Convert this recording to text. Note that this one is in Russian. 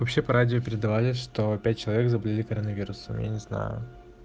вообще по радио передавали что пять человек заболели коронавирусом я не знаю